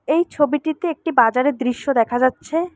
এই ছবিটিতে একটি বাজারে দৃশ্য দেখা যাচ্ছে।